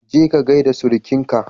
Je ka ka gaida surukinka.